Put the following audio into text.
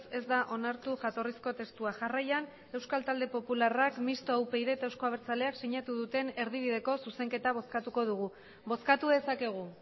ez da onartu jatorrizko testua jarraian euskal talde popularrak mistoa upyd eta eusko abertzaleak sinatu duten erdibideko zuzenketa bozkatuko dugu bozkatu dezakegu